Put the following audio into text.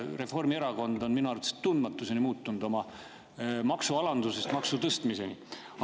Reformierakond on minu arvates tundmatuseni muutnud oma maksude alandamise ja tõstmise.